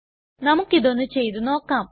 നമുക്കിതൊന്നു ചെയ്തു നോക്കാം